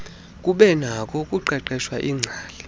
kubenakho ukuqeqeshwa iingcali